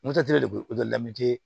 de bɛ